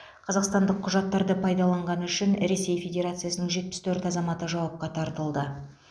қазақстандық құжаттарды пайдаланғаны үшін ресей федерациясының жетпіс төрт азаматы жауапқа тартылды